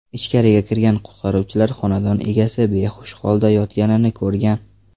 Ichkariga kirgan qutqaruvchilar xonadon egasi behush holda yotganini ko‘rgan.